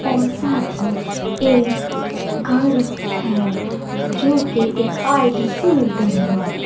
और साथ ही एक घर है जो के एक आई_टी सेंटर है।